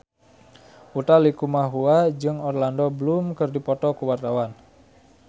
Utha Likumahua jeung Orlando Bloom keur dipoto ku wartawan